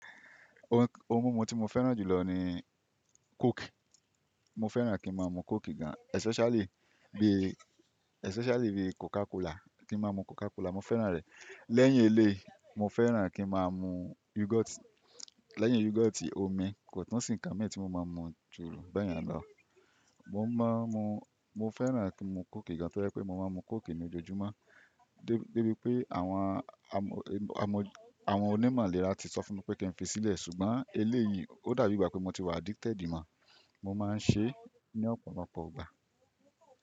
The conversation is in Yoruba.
Ohun mímu tí mo fẹ́ràn jù lọ ni coke. Mo fẹ́ràn kí n máa mu coke gan-an especially bí, especially bí Coca Cola, kí n máa mu Coca Cola, mo fẹ́ràn rẹ̀. Lẹ́yìn eléyìí mo fẹ́ràn kí n máa mu yoghurt. Lẹ́yìn yoghurt, omi, kò sí ǹkan mi tí mo máa ń mu jù bẹ́ẹ̀ yẹn lọ. Mo ma n mu, mo fẹ́ràn kí n ma mú coke gan, to jẹ pé mo máa n mu coke lojoojumọ dé bí pé àwọn onímọ̀ ilèrá ti sọ fún mi pé kí n fi sílẹ̀ ṣùgbọ́n eléyìí ó dàbí ìgbà pé mo ti wà addicted mọ́, mo máa ń ṣe é ní ọ̀pọ̀lọpọ̀ ìgbà.